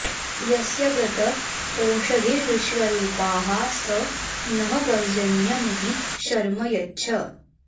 यस्य व्रत ओषधीर्विश्वरूपाः स नः पर्जन्य महि शर्म यच्छ